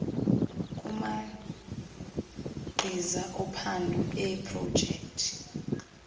kumagqiza ophando eeprojekthi